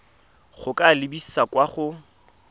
go ka lebisa kwa go